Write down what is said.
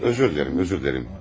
Üzr diləyirəm, üzr diləyirəm.